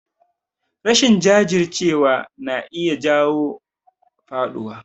Rashin jajircewa na iya jawo faɗuwa